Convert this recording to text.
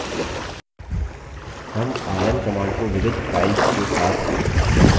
rm rm command को विविध files के साथ भी इस्तेमाल कर सकते हैं